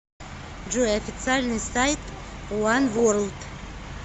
джой официальный сайт уан ворлд